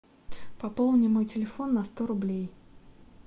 пополни мой телефон на сто рублей